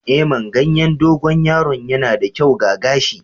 Eh, man ganyen dogon yaro yana da kyau ga gashi.